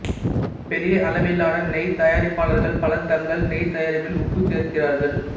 பெரிய அளவிலான நெய் தயாரிப்பாளர்கள் பலர் தங்கள் நெய் தயாரிப்பில் உப்பு சேர்க்கிறார்கள்